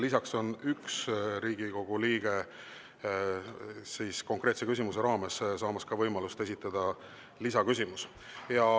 Lisaks on ühel Riigikogu liikmel konkreetse küsimuse raames võimalus esitada ka lisaküsimus.